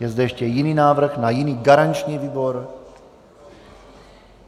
Je zde ještě jiný návrh na jiný garanční výbor?